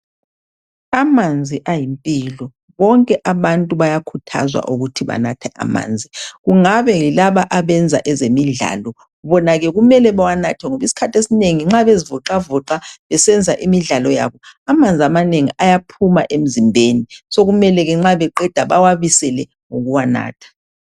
Amanzi ayimpilo bonke abantu bayakhuthazwa ukuthi banathe amanzi. Kungabe yilaba abenza ezemidlalo, bona ke kumele awanathe ngoba isikhathi esinengi nxa bezivoxavoxa besenza imidlalo yabo, amanzi amanengi ayaphuma emzimbeni sekumele ke nxa eqeda bawabuyisele ngokuwanatha.